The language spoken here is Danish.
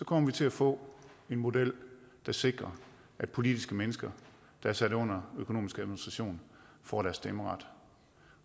kommer til at få en model der sikrer at politiske mennesker der er sat under økonomisk administration får deres stemmeret